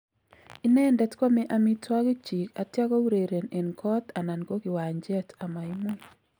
Inendet kwome amitwogik chiik atya koureren en ngoot anan ko kiwacheet amaimuuny'